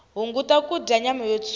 hunguta kudya nyama yo tshuka